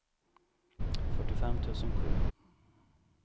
fyrtiofem tusen sju